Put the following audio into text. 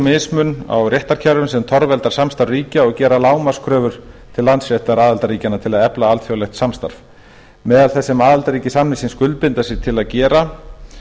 mismun á réttarkerfum sem torveldar samstarf ríkja og gera lágmarkskröfur til landsréttar aðildarríkjanna til að efla alþjóðlegt samstarf meðal þess sem aðildarríki samningsins skuldbinda sig til að gera